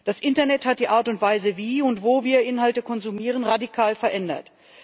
Das Internet hat die Art und Weise, wie und wo wir Inhalte konsumieren, radikal verändert.